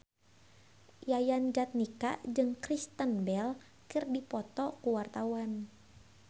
Yayan Jatnika jeung Kristen Bell keur dipoto ku wartawan